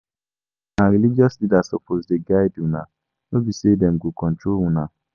Una religious leaders suppose dey guide una no be sey dem go control una.